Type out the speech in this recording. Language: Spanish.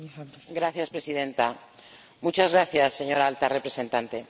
Señora Presidenta, muchas gracias, señora Alta Representante.